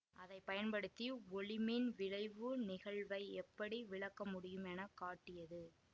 அதை பயன்படுத்தி ஒளிமின் விளைவு நிகழ்வை எப்படி விளக்கமுடியும் என காட்டியது